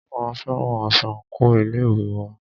A fẹ́ran aṣọ àńkò ilé ìwé wa